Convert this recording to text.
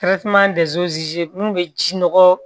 mun bɛ ji nɔgɔ